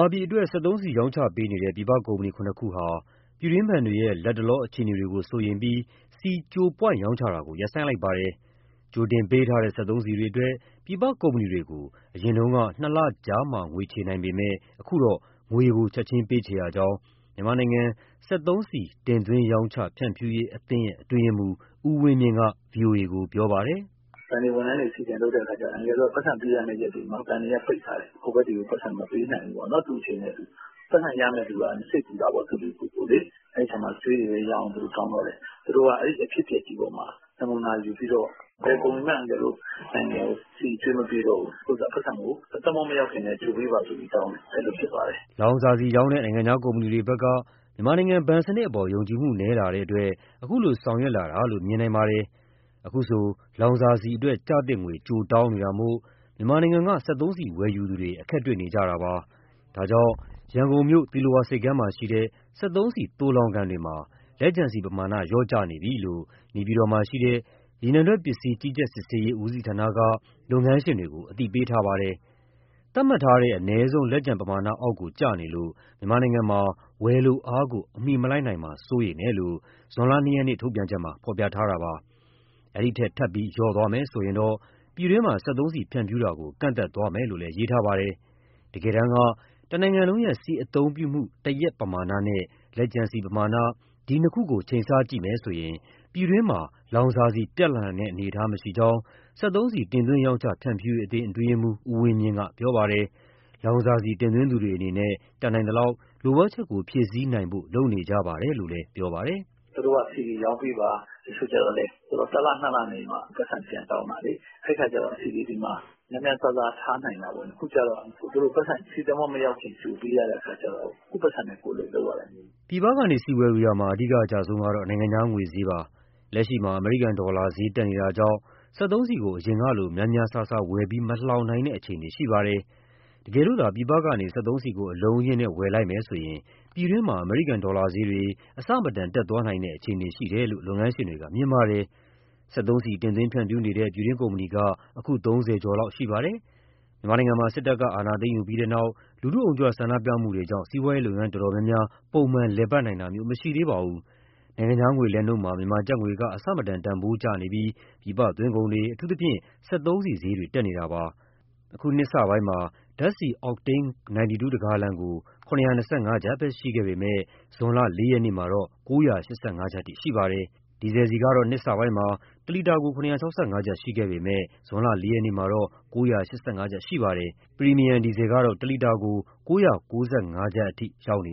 ာပြည်အတွက် စက်သုံးဆီရောင်းချပေးနေတဲ့ ပြည်ပကုမ္ပဏီ ၇ ခုဟာ ပြည်တွင်းဘဏ်တွေရဲ့ လတ်တလော အခြေအနေတွေကို စိုးရိမ်ပြီး ဆီ ကြိုပွိုင့်ရောင်းချတာကို ရပ်ဆိုင်းလိုက်ပါတယ်။ ကြိုတင်ပေးထားတဲ့ စက်သုံးဆီတွေအတွက် ပြည်ပကုမ္ပဏီတွေကို အရင်က နှစ်လကြာမှ ငွေချေနိုင်ပေမဲ့ အခုတော့ ငွေကို ချက်ချင်းပေးချေရကြောင်း မြန်မာနိုင်ငံ စက်သုံးဆီ တင်သွင်း၊ ရောင်းချ၊ ဖြန့်ဖြူရေးအသင်း အတွင်းရေးမှူး ဦးဝင်းမြင့်က ပြောပါတယ်။ “ဘဏ်တွေ ဝန်ထမ်းတွေ CDM လုပ်တဲ့အခါကျတော့ အန်ကယ်တို့က ပိုက်ဆံပေးရမယ့် ရက်တွေမှာ ဘဏ်တွေက ပိတ်ထားတယ်။ ဟိုဘက်ကို ပိုက်ဆံမပေးနိုင်ဘူးပေါ့ သူ့အချိန်နဲ့သူ။ ပိုက်ဆံရမယ့်သူက စိတ်ပူတာပေါ့ သူသူကိုယ်ကိုယ်လေ။ အဲဒီအခါမှာ အကြွေးတွေပဲရအောင် သူတို့ တောင်းတော့တယ်။ သူတို့က အဲဒီအဖြစ်အပျက်ကြီးပေါ်မှာ နမူနာယူပြီးတော့ ဘယ်ကုမ္ပဏီမှ အန်ကယ်တို့နိုင်ငံကို ဆီအကြွေးမပေးတော့ဘူး။ အခုဆိုရင် ပိုက်ဆံကို သင်္ဘောမရောက်ခင်ကတည်းက ကြိုပေးပါဆိုပြီးတောင်းတယ်။ အဲလိုဖြစ်သွားတယ်။” လောင်စာဆီရောင်းတဲ့ နိုင်ငံခြားကုမ္ပဏီတွေဘက်က မြန်မာနိုင်ငံ ဘဏ်စနစ်အပေါ် ယုံကြည်မှု နည်းလာတဲ့အတွက် ခုလိုဆောင်ရွက်လာတာလို့ မြင်နိုင်ပါတယ်။ အခုဆို လောင်စာဆီအတွက် ကျသင့်ငွေ ကြိုတောင်းနေတာမို့ မြန်မာနိုင်ငံက စက်သုံးဆီ ဝယ်ယူသူတွေ အခက်တွေ့နေကြတာပါ။ ဒါကြောင့် ရန်ကုန်မြို့ သီလဝါဆိပ်ကမ်းမှာရှိတဲ့ စက်သုံးဆီ သိုလှောင်ကန်တွေမှာ လက်ကျန်ဆီပမာဏ လျော့ကျနေပြီလို့ နေပြည်တော်မှာရှိတဲ့ ရေနံထွက်ပစ္စည်း ကြီးကြပ်စစ်ဆေးရေး ဦးစီးဌာနက လုပ်ငန်းရှင်တွေကို အသိပေးထားပါတယ်။ သတ်မှတ်ထားတဲ့ အနည်းဆုံး လက်ကျန်ပမာဏအောက်ကို ကျနေလို့ မြန်မာနိုင်ငံမှာ ဝယ်လိုအားကို အမီမလိုက်နိုင်မှာ စိုးရိမ်တယ်လို့ ဇွန်လ ၂ ရက်က ထုတ်ပြန်ချက်မှာ ဖော်ပြထားတာပါ။ ထပ်ပြီး လျော့နည်းသွားမယ်ဆိုရင်တော့ ပြည်တွင်းမှာ စက်သုံးဆီဖြန့်ဖြူးတာကို ကန့်သတ်သွားမယ်လို့လည်း ရေးသားထားပါတယ်။ တကယ်တမ်း တနိုင်ငံလုံးရဲ့ဆီအသုံးပြုမှု တရက်ပမာဏနဲ့ လက်ကျန်ဆီပမာဏ ဒီနှစ်ခုကို ချိန်ဆကြည့်မယ်ဆိုရင် ပြည်တွင်းမှာ လောင်စာဆီ ပြတ်လပ်နိုင်တဲ့ အနေအထားမရှိကြောင်း စက်သုံးဆီ တင်သွင်း၊ ရောင်းချ၊ ဖြန့်ဖြူရေးအသင်း အတွင်းရေးမှူး ဦးဝင်းမြင့်ကတော့ပြောပါတယ်။ လောင်စာဆီ တင်သွင်းသူတွေအနေနဲ့ တတ်နိုင်သလောက် လိုအပ်ချက်ကို ဖြည့်ဆည်းနိုင်ဖို့ လုပ်နေကြပါတယ်လို့ ပြောပါတယ်။ “သူတို့က ဆီတွေရောင်းပေးပါ၊ တချို့ကျလည်း တလ၊ နှစ်လနေမှ ပိုက်ဆံ ပြန်တောင်းတာလေ၊ အဲဒီအခါကျတော့ ဆီတွေ ဒီမှာ ( ဆီလှောင်ကန်ထဲမှာ) များများစားစား ထားနိုင်တာပေါ့။ အခုကတော့ သူတို့ကို ပိုက်ဆံ ဆီသင်္ဘောမရောက်ခင် ကြိုပေးရတဲ့အခါကျတော့ ကိုယ့်ပိုက်ဆံနဲ့ကိုယ် လုပ်ရတယ်။” ပြည်ပကနေ ဆီဝယ်ယူရာမှာ အဓိကအကျဆုံးကတော့ နိုင်ငံခြားငွေဈေးပဲဖြစ်ပါတယ်။ လက်ရှိမှာ အမေရိကန်ဒေါ်လာတန်ဖိုး တက်နေတာကြောင့်လည်း စက်သုံးဆီကို အရင်ကလို များများစားစား မဝယ်လှောင်နိုင်တဲ့ အခြေအနေ ရှိပါတယ်။ တကယ်လို့သာ ပြည်ပကနေ စက်သုံးဆီကို အလုံးအရင်းနဲ့ ဝယ်ယူလိုက်မယ်ဆိုရင် ပြည်တွင်းမှာ အမေရိကန်ဒေါ်လာဈေးတွေ အဆမတန် တက်သွားနိုင်တဲ့ အခြေအနေရှိတယ်လို့ လုပ်ငန်းရှင်တွေက မြင်ပါတယ်။ စက်သုံးဆီ တင်သွင်းဖြန့်ဖြူးနေတဲ့ ပြည်တွင်းကုမ္ပဏီက အခု ၃၀ ကျော်လောက်ရှိပါတယ်။ မြန်မာပြည်မှာ စစ်တပ်က အာဏာသိမ်းယူပြီးနောက် လူထုအုံကြွ ဆန္ဒပြမှုတွေကြောင့်စီးပွားရေးလုပ်ငန်းတော်တော်များများ ပုံမှန် မလည်ပတ်နိုင်ကြသေးပါဘူး။ နိုင်ငံခြားငွေလဲလှယ်နှုန်းမှာ မြန်မာကျပ်ငွေက တန်ဖိုးအဆမတန်ကျဆင်းနေပြီး ပြည်ပသွင်းကုန်တွေ အထူးသဖြင့် စက်သုံးဆီဈေးတွေ တက်နေပါတယ်။ အခုနှစ်စမှာ ဓာတ်ဆီအော့တိန်း 92 တဂါလံကို ၇၂၅ ကျပ်ပဲရှိပေမဲ့ အခုဇွန် ၄ ရက်မှာတော့ ၉၈၅ ကျပ် ရှိပါတယ်။ ဒီဇယ်ဆီကတော့ အခုနှစ်စမှာ တလီတာကို ၇၆၅ ကျပ်ရှိပေမဲ့ ဇွန်လ ၄ ရက်မှာတော့ ၉၈၅ ကျပ် ရှိပါတယ်။ ပရီမီယံ ဒီဇယ်ကတော့ တလီတာကို ၉၉၅ ကျပ်အထိရောက်နေ